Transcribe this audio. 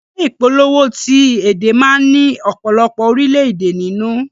Ìwé ìpolówó ti èdè má ni ọ̀pọ̀lọpọ̀ orilẹ èdè nínú.